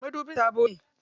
Madubin sabo ne.